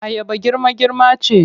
Ayaba girma-girma ce.